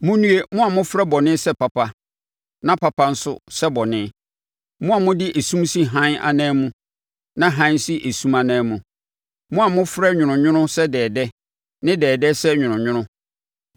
Monnue, mo a mofrɛ bɔne sɛ papa na papa nso sɛ bɔne, mo a mode esum si hann anan mu na hann si esum anan mu, mo a mofrɛ nwononwono sɛ dɛɛdɛ ne dɛɛdɛ sɛ nwononwono.